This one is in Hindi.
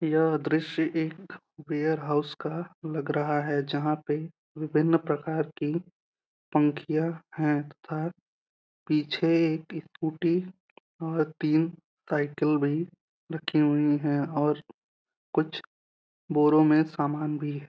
यह दृश्य एक वेयरहाउस का लग रहा है जहां पे विभिन्न प्रकार की पंखिया हैं तथा पीछे एक स्कूटी और तीन साइकल भी रखी हुई हैं और कुछ बोरो में सामान भी --